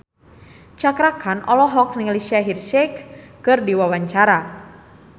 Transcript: Cakra Khan olohok ningali Shaheer Sheikh keur diwawancara